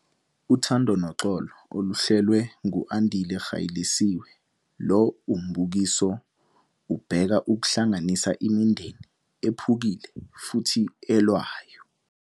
Uthando Noxolo - Oluhlelwe ngu-Andile Gaelisiwe, lo mbukiso ubheka ukuhlanganisa imindeni ephukile futhi elwayo.